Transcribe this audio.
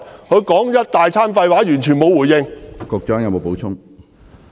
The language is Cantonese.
他說了一大堆廢話，完全沒有回應。